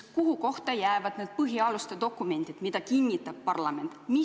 Kuhu kohta jäävad need põhialuste dokumendid, mida kinnitab parlament?